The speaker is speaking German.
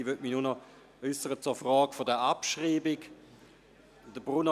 Ich möchte mich nur noch zur Frage der Abschreibung äussern.